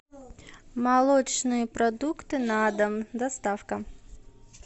молочные продукты на дом доставка